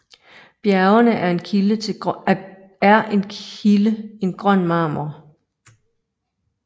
Bjergene er en kilde en grøn marmor